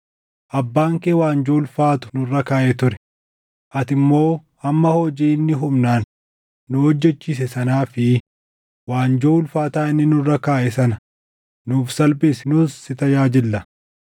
“Abbaan kee waanjoo ulfaatu nurra kaaʼee ture; ati immoo amma hojii inni humnaan nu hojjechiise sanaa fi waanjoo ulfaataa inni nurra kaaʼe sana nuuf salphisi; nus si tajaajillaa.”